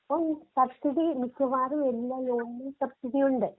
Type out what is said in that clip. ആ സബ്സീഡി മിക്കവാറും എല്ലാ ലോണിലും സബ് സീഡി ഉണ്ട്.